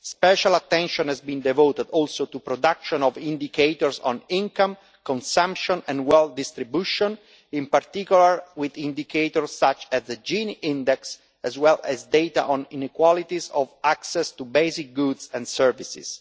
Special attention has been devoted also to the production of indicators on income, consumption and wealth distribution in particular, indicators such as the Gini index, as well as data on inequality of access to basic goods and services.